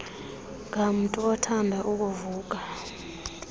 ngamntu othanda ukuvuka